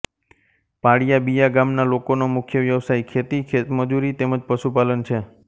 પાળીયાબીયા ગામના લોકોનો મુખ્ય વ્યવસાય ખેતી ખેતમજૂરી તેમ જ પશુપાલન છે